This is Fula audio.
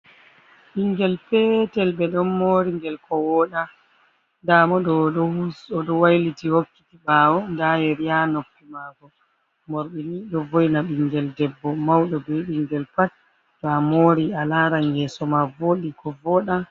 Ɓinngel peetel ɓe ɗonn moori ngel, ko wooɗa, ndaa mo o ɗo wayliti hokkiti ɓaawo, ndaa yeri haa noppi maako. Moorɗi ni ɗo vo ´ina ɓinngel debbo mawɗo be ɓinngel pat, to moori a laaran yeeso ma wooɗi ko vooɗa.